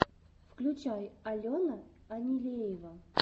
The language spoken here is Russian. включай алана енилеева